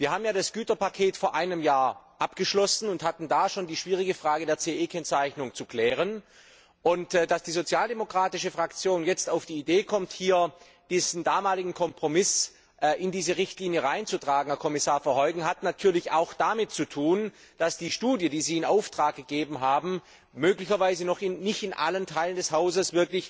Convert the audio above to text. Wir haben ja das Güterpaket vor einem Jahr abgeschlossen und hatten da schon die schwierige Frage der CE Kennzeichnung zu klären. Dass die sozialdemokratische Fraktion jetzt auf die Idee kommt, diesen damaligen Kompromiss in diese Richtlinie hineinzutragen, das hat, Herr Kommissar Verheugen, auch etwas damit zu tun, dass die Studie, die Sie in Auftrag gegeben haben, möglicherweise noch nicht in allen Teilen des Hauses